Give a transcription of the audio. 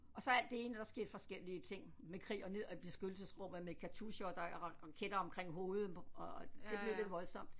Og så alt det ene der skete forskellige ting med krig og ned og i beskyttelsesrum og med katusha og der raketter omkring hovedet og det blev lidt voldsomt